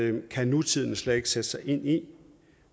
i øvrigt kan nutiden slet ikke sætte sig ind i